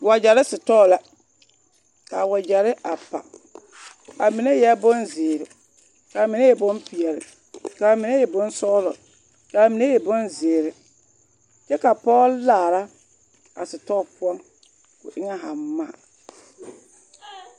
Wagyɛre sitɔɔ la k'a wagyɛre a pa a mine eɛ bonzeere, k'a mine e bompeɛle, k'a mine e bonsɔgelɔ, k'a mine e bonzeere, kyɛ ka pɔge laara a sitɔɔ poɔ, o eŋɛ haaŋ maa.